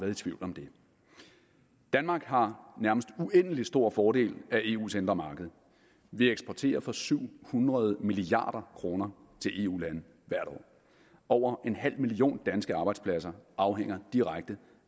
i tvivl om det danmark har nærmest uendelig stor fordel af eus indre marked vi eksporterer for syv hundrede milliard kroner til eu lande hvert år over en halv million danske arbejdspladser afhænger direkte